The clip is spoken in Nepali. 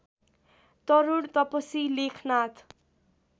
तरूण तपसी लेखनाथ